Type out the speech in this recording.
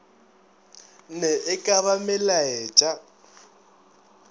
na e ka ba melaetša